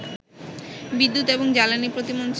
বিদ্যুৎ এবং জ্বালানী প্রতিমন্ত্রী